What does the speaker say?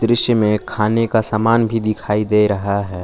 दृश्य में खाने का समान भी दिखाई दे रहा है।